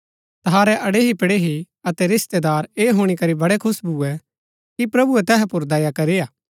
तहारै अड़ेहीपड़ेही अतै रिस्तेदार ऐह हुणी करी बड़ै खुश भुऐ कि प्रभुऐ तैहा पुर दया करी हा